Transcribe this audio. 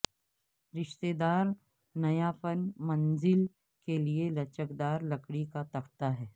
رشتہ دار نیاپن منزل کے لئے لچکدار لکڑی کا تختہ ہے